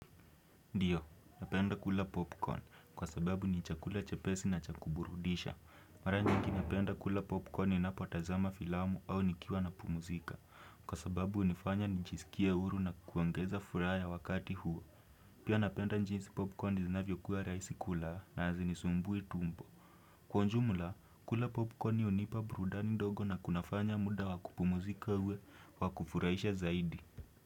Ndiyo, napenda kula popcorn kwa sababu ni chakula chepesi na cha kuburudisha. Mara nyingi napenda kula popcorn ninapotazama filamu au nikiwa napumzika. Kwa sababu hunifanya nijisikie huru na kuongeza furaha ya wakati huo. Pia napenda jinsi popcorn zinavyokuwa rahisi kula na hazinisumbui tumbo. Kwa ujumla, kula popcorn hunipa burudani ndogo na kunafanya muda wa kupumzika uwe wa kufurahisha zaidi.